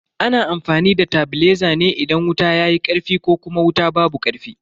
Ana amfani da tabileza ne idan wuta yayi karfi ko kuma wuta babu karfi.